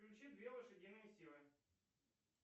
включи две лошадиные силы